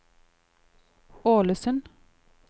Ålesund